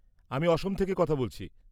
-আমি অসম থেকে কথা বলছি।